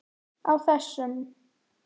Á þessum